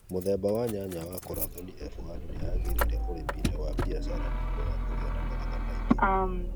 Mũthemba wa nyanya wa Kurathoni F1 nĩ yagĩrĩire ũrĩmi-inĩ wa kĩbiacara nĩ ũndũ wa kũgĩa na magetha maingĩ.